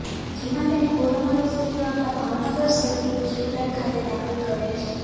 જેમાં તેને corona positive આવતા ભાવનગર સર ટી હોસ્પિટલ ખાતે દાખલ કરેલ છે